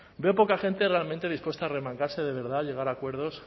veo poca gente realmente dispuesta a remangarse de verdad a llegar a acuerdos